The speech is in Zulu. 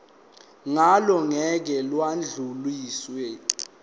ngalo ngeke lwadluliselwa